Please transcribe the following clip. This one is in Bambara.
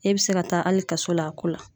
E bɛ se ka taa hali kaso la a ko la.